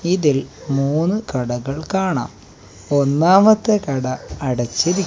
ഇതിൽ മൂന്ന് കടകൾ കാണാം ഒന്നാമത്തെ കട അടച്ചിരി--